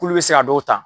K'ulu bɛ se ka dɔw ta